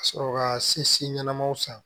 Ka sɔrɔ ka sesin ɲɛnamaw san